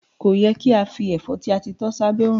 Ko yẹ ki a fi ẹfọ ti a ti tọ s'abe òrùn.